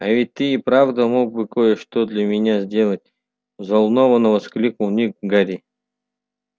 а ведь ты и правда мог бы кое-что для меня сделать взволнованно воскликнул ник гарри